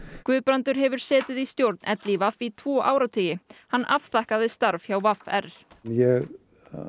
Guðbrandur hefur setið í stjórn LÍV í tvo áratugi hann afþakkaði starf hjá v r ég